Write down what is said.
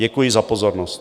Děkuji za pozornost.